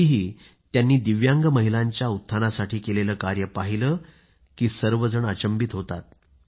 तरीही त्यांनी दिव्यांग महिलांच्या उत्थानासाठी केलेले कार्य पाहिले की सर्वजण अचंबित होतात